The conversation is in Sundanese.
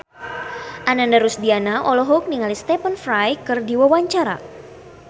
Ananda Rusdiana olohok ningali Stephen Fry keur diwawancara